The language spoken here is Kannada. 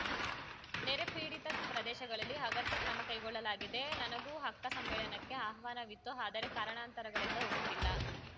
ನೆರೆ ಪೀಡಿತ ಪ್ರದೇಶಗಳಲ್ಲಿ ಅಗತ್ಯ ಕ್ರಮ ಕೈಗೊಳ್ಳಲಾಗಿದೆ ನನಗೂ ಅಕ್ಕ ಸಮ್ಮೇಳನಕ್ಕೆ ಆಹ್ವಾನವಿತ್ತು ಆದರೆ ಕಾರಣಾಂತರಗಳಿಂದ ಹೋಗುತ್ತಿಲ್ಲ